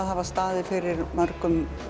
hafa staðið fyrir mörgum